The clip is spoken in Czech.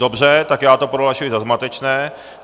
Dobře, tak já to prohlašuji za zmatečné.